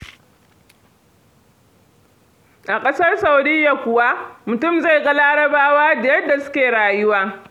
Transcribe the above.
A ƙasar Saudiya kuwa, mutum zai ga Larabawa da yadda suke rayuwa.